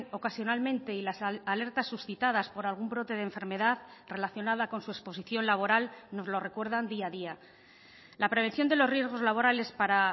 ocasionalmente y las alertas suscitadas por algún brote de enfermedad relacionada con su exposición laboral nos lo recuerdan día a día la prevención de los riesgos laborales para